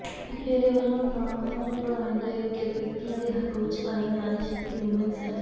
ਇਕ ਡੇਰੇ ਵਲੋਂ ਨਾਮਰਦ ਬਣਾਏ ਗਏ ਵਿਅਕਤੀਆਂ ਦੇ ਹੱਕ ਵਿਚ ਆਈ ਨਾਰੀ ਸ਼ਕਤੀ ਵੁਮੈਨ ਸੈੱਲ